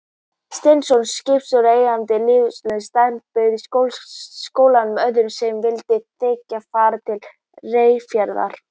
Steinsson skipstjóri, eigandi línuveiðarans Sæfara, bauð skólanum og öðrum sem vildu þiggja, far til Reyðarfjarðar.